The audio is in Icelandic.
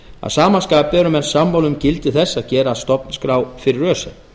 að sama skapi eru menn sammála um gildi þess að gera stofnskrá fyrir öse